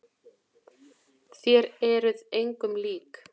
Þér eruð engum lík!